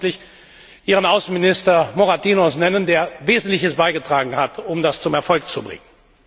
Ich will ausdrücklich Ihren Außenminister Moratinos nennen, der Wesentliches beigetragen hat, um das zum Erfolg zu bringen.